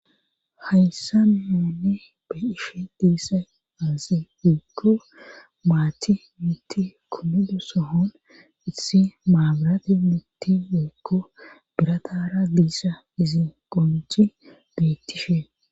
Hayssa nooni be ishe diissa aazi weekko maachi mitti kummido sohon issi maabirati mitti weekko biratara diissa izi qonci bettishe